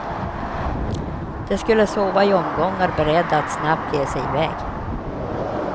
De skulle sova i omgångar, beredda att snabbt ge sig iväg.